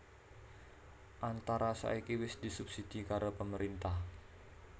Antara saiki wis disubsidi karo pemerintah